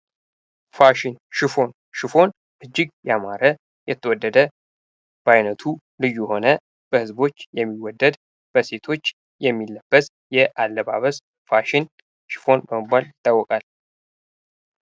ፋሽን ሽፎን ሽፎን እጅግ ያማረ የተወደደ በአይነቱ ልዩ የሆነ በህዝቦች የሚወደድ በሴቶች የሚለበስ የአለባበስ ፋሽን ሽፎን በመባል ይታወቃል ።